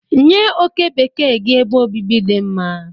Nye oke bekee gị ebe obibi dị mma.